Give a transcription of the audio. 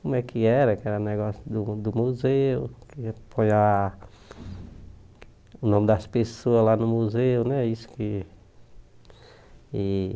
Como é que era, que era negócio do do museu, que ia apoiar o nome das pessoas lá no museu, né? Isso que